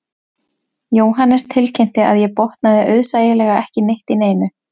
Jóhannes tilkynnti að ég botnaði auðsæilega ekki neitt í neinu